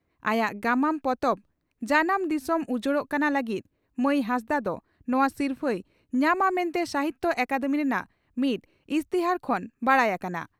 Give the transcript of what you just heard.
ᱟᱭᱟᱜ ᱜᱟᱢᱟᱢ ᱯᱚᱛᱚᱵ 'ᱡᱟᱱᱟᱢ ᱫᱤᱥᱚᱢ ᱩᱡᱟᱹᱲᱚᱜ ᱠᱟᱱᱟ' ᱞᱟᱹᱜᱤᱫ ᱢᱟᱹᱭ ᱦᱟᱸᱥᱫᱟᱜ ᱫᱚ ᱱᱚᱣᱟ ᱥᱤᱨᱯᱷᱟᱹᱭ ᱧᱟᱢᱟ ᱢᱮᱱᱛᱮ ᱥᱟᱦᱤᱛᱭᱚ ᱟᱠᱟᱫᱮᱢᱤ ᱨᱮᱱᱟᱜ ᱢᱤᱫ ᱤᱥᱛᱤᱦᱟᱨ ᱠᱷᱚᱱ ᱵᱟᱰᱟᱭ ᱟᱠᱟᱱᱟ ᱾